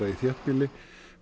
í þéttbýli